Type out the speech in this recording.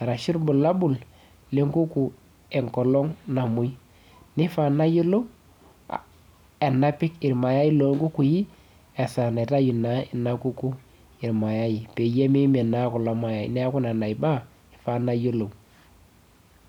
Arashu ilbulabul lenkuku enkolong namoi. Nifaa nayiolou enapik irmayai lonkukui esaa naitayu naa ina kuku irmayai, peyie mimin naa kulo mayai. Neeku nena baa, ifaa nayiolou.